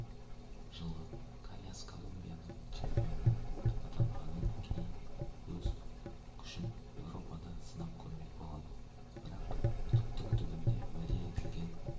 жылы каньяс колумбияның чемпионы атанғаннан кейін өз күшін еуропада сынап көрмек болады бірақ түптің-түбінде уәде етілген